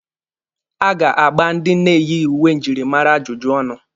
A ga-agba ndị na-eyighi uwe njirimara ajụjụ ọnụ.